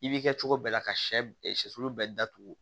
I b'i kɛ cogo bɛɛ la ka shɛ shɛlu bɛɛ datugu